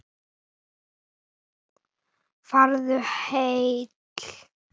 Farðu heill.